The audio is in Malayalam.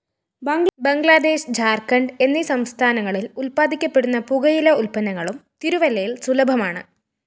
ബംഗ്ലാദേശ് ജാര്‍ഖഢ് എന്നീസംസ്ഥാനങ്ങളില്‍ ഉല്പാദിപ്പിക്കപ്പെടുന്ന പുകയില ഉല്പന്നങ്ങളും തിരുല്ലയില്‍ സുലഫമാണ്